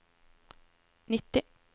nitti